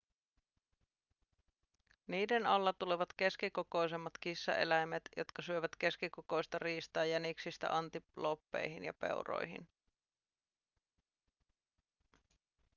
niiden alla tulevat keskikokoisemmat kissaeläimet jotka syövät keskikokoista riistaa jäniksistä antilooppeihin ja peuroihin